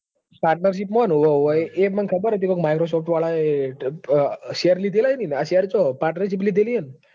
Partnership માં છે ને ઉવ ઉવ મને ખબર છે કે એને ક્યાંક શેર લીધેલા છે ને